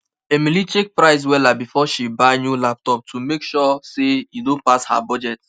emily check price wella before she buy new laptop to make sure say e no pass her budget